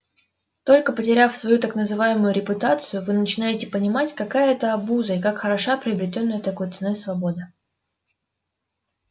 только потеряв свою так называемую репутацию вы начинаете понимать какая это обуза и как хороша приобретённая такой ценой свобода